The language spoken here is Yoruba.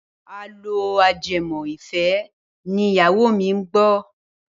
Àlọ́ ajẹmọ́-ìfẹ́ ni ìyáwó mi ń gbọ́.